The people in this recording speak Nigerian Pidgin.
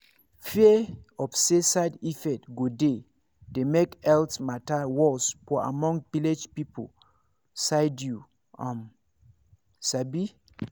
fear of say side effect go dey dey make health matter worse for among village people side you um sabi